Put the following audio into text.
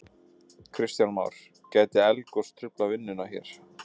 Kristján Már: Gæti eldgos truflað vinnu hér?